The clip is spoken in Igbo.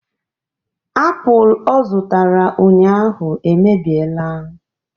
Apụl ọ zụtara ụnyaahụ emebiela